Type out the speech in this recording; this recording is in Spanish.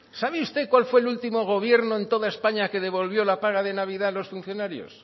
sabe usted cuál fue el último gobierno en toda españa que devolvió la paga de navidad a los funcionarios